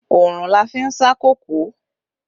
Oòrùn la fi ń sá kòkó